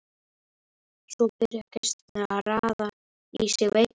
Svo byrja gestirnir að raða í sig veitingunum.